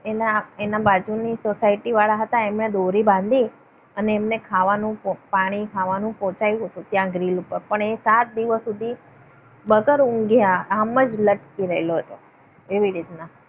એના બાજુની સોસાયટી વાળા હતા. એમણે દોરી બાંધી અને એમને ખાવાનું પાણી ખાવાનું પહોંચાડ્યું હતું ત્યાં ગ્રીલ ઉપર. પણ તે સાત દિવસ સુધી વગર ઊંઘ્યા આમ જ લટકી રહેલો હતો. એવી રીતના